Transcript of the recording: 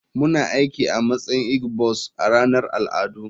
Muna aiki a matsayin igbos a ranar al'adu.